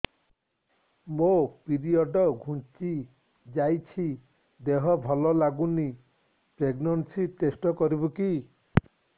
ମୋ ପିରିଅଡ଼ ଘୁଞ୍ଚି ଯାଇଛି ଦେହ ଭଲ ଲାଗୁନି ପ୍ରେଗ୍ନନ୍ସି ଟେଷ୍ଟ କରିବୁ କି